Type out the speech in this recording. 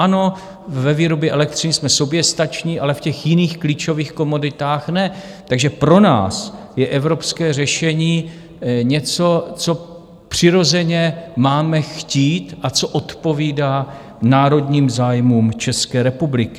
Ano, ve výrobě elektřiny jsme soběstační, ale v těch jiných klíčových komoditách ne, takže pro nás je evropské řešení něco, co přirozeně máme chtít a co odpovídá národním zájmům České republiky.